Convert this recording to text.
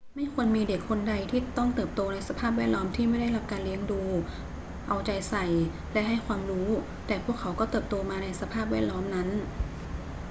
ไม่ควรมีเด็กคนใดที่ต้องเติบโตในสภาพแวดล้อมที่ไม่ได้รับการเลี้ยงดู เอาใจใส่ และให้ความรู้ แต่พวกเขาก็เติบโตมาในสภาพแวดล้อมนั้น